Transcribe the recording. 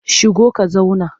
Shigo ka zauna!